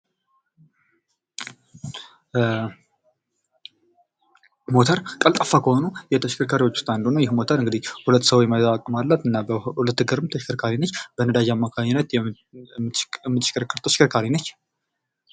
ሞተር ቀልጣፈ ከሆኑ ተሽከርካሪዎች ውስጥ አንዱ ነው ይህ ሞተር እንግዲህ ሁለት ሰው የመያዝ አቅም አላት 2 እግር ተሽከርካሪዎች በነዳጅ አማካኝነት የምሽከረከር ተሽከርካሪ ነች።